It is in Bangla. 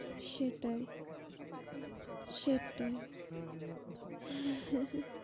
সেটাই সেটাই হু হু হু